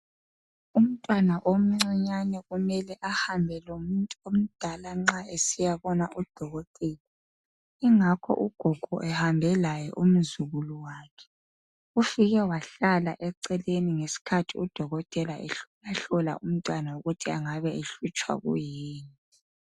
Umntwana omncinyane kumele ahambe lomuntu omdala nxa esiyabona udokotela ingakho ugogo ehambe laye umzukulu wakhe ufike wahlala eceleni ngesikhathi udokotela ehlolahlola umntwana ukuthi engabe ehlutshwa kuyini